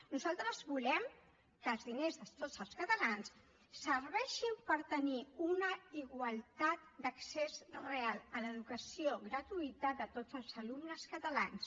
nosaltres volem que els diners de tots els catalans serveixin per tenir una igualtat d’accés real a l’educació gratuïta de tots els alumnes catalans